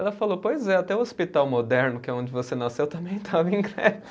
Ela falou, pois é, até o Hospital Moderno, que é onde você nasceu, também estava em greve.